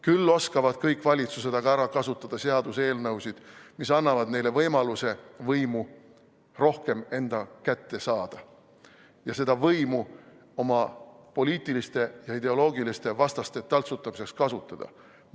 Küll oskavad kõik valitsused aga ära kasutada seaduseelnõusid, mis annavad neile võimaluse võimu rohkem enda kätte saada ja seda võimu oma poliitiliste ja ideoloogiliste vastaste taltsutamiseks kasutada.